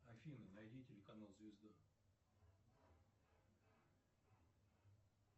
афина найди телеканал звезда